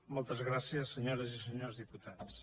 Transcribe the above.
moltes gràcies senyores i senyors diputats